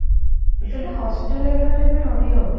ସେଇଟା hostel wagera ରେ ଭି ରହିହବ